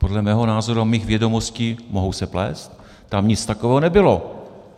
Podle mého názoru a mých vědomostí - mohu se plést - tam nic takového nebylo.